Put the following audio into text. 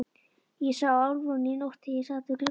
Ég sá Álfrúnu í nótt þegar ég sat við gluggann.